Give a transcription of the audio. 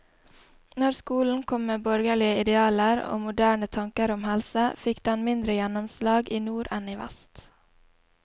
Når skolen kom med borgerlige idealer og moderne tanker om helse, fikk den mindre gjennomslag i nord enn i vest.